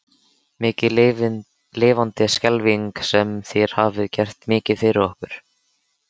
Mikið lifandis skelfing sem þér hafið gert mikið fyrir okkur.